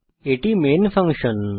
এটি main function